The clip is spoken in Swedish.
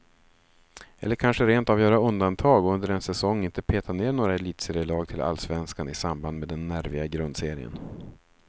Eller kanske rent av göra undantag och under en säsong inte peta ned några elitserielag till allsvenskan i samband med den nerviga grundserien.